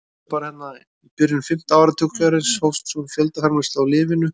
í byrjun fimmta áratugarins hófst svo fjöldaframleiðsla á lyfinu